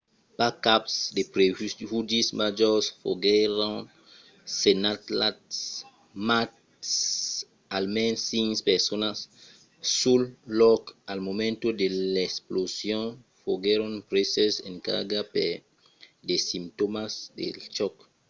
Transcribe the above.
pas cap de prejudicis majors foguèron senhalats mas almens cinc personas sul lòc al moment de l'explosion foguèron preses en carga per de simptòmas del chòc